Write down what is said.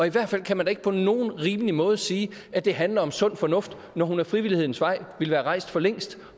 i hvert fald kan man da ikke på nogen rimelig måde sige at det handler om sund fornuft når hun ad frivillighedens vej ville være rejst for længst